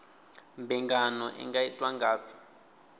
mbingano i nga itwa ngafhi